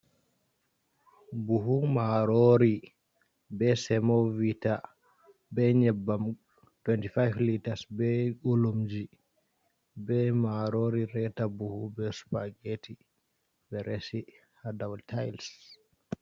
Buhu marori. Be semovita. Be nyebbam tewenti fafe litas. Be bulumji. Be marori reta buhu. Be supageti.be resi ha daw tails.